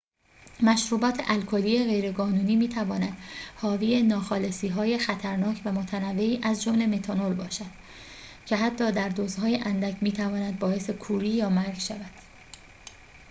مشروبات الکلی غیرقانونی می تواند حاوی ناخالصی های خطرناک و متنوعی از جمله متانول باشد که حتی در دوزهای اندک می تواند باعث کوری یا مرگ شود